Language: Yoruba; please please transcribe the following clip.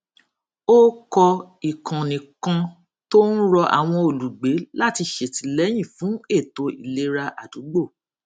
ó kọ ìkànnì kan tó ń rọ àwọn olùgbé láti ṣètìlẹyìn fún ètò ìlera àdúgbò